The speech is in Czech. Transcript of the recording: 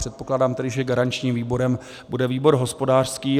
Předpokládám tedy, že garančním výborem bude výbor hospodářský.